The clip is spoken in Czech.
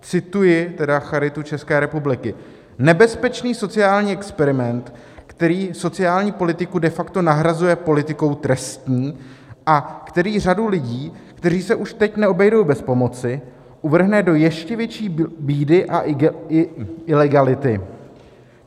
Cituji tedy Charitu České republiky: Nebezpečný sociální experiment, který sociální politiku de facto nahrazuje politikou trestní a který řadu lidí, kteří se už teď neobejdou bez pomoci, uvrhne do ještě větší bídy a ilegality.